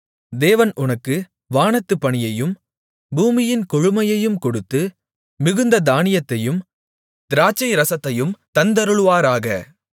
தேவன் உனக்கு வானத்துப் பனியையும் பூமியின் கொழுமையையும் கொடுத்து மிகுந்த தானியத்தையும் திராட்சைரசத்தையும் தந்தருளுவாராக